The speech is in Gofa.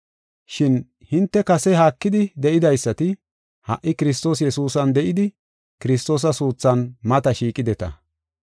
Shin hinte kase haakidi de7idaysati, ha77i Kiristoos Yesuusan de7idi Kiristoosa suuthan mata shiiqideta.